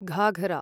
Ghaghara